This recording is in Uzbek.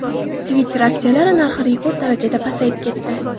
Twitter aksiyalari narxi rekord darajada pasayib ketdi.